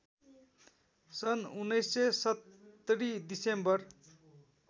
सन् १९७० डिसेम्बर